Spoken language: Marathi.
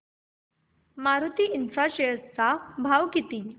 मारुती इन्फ्रा च्या शेअर चा भाव किती